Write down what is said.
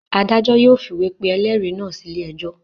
Adájọ́ yóò fìwé pe ẹlẹ́rìí náà sílé ẹjọ́.